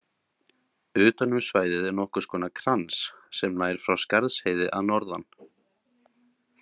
Utan um svæðið er nokkurs konar krans sem nær frá Skarðsheiði að norðan.